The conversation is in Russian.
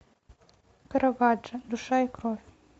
караваджо душа и кровь